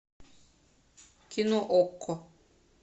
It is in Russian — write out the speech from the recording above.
кино окко